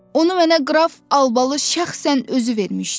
Onu mənə qraf Albalı şəxsən özü vermişdi.